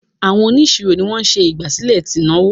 Àwọn onisiro ní wón ṣe ìgbàsílẹ̀ t'inaowó.